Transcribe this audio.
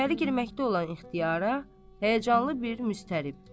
İçəri girməkdə olan ixtiyara həyəcanlı bir müstərib.